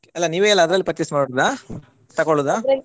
ಅಲ್ಲ ನೀವೇ ಎಲ್ಲ ಅದ್ರಲ್ purchase ಮಾಡುದಾ ತಗೊಳುದಾ.